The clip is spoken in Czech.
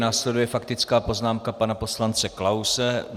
Následuje faktická poznámka pana poslance Klause.